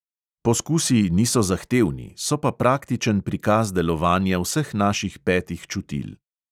Poskusi niso zahtevni, so pa praktičen prikaz delovanja vseh naših petih čutil.